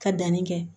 Ka danni kɛ